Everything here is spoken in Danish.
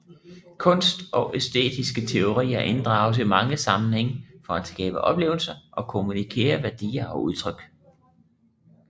Kunst og æstetiske teorier inddrages i mange sammenhænge for at skabe oplevelser og kommunikere værdier og udtryk